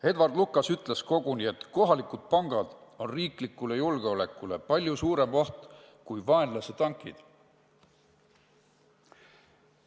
Edward Lucas ütles koguni, et kohalikud pangad on riigi julgeolekule palju suurem oht kui vaenlase tankid.